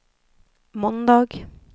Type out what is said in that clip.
måndag